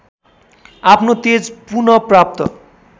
आफ्नो तेज पुनःप्राप्त